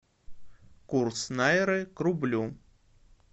курс найры к рублю